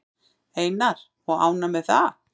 Einar: Og ánægð með það?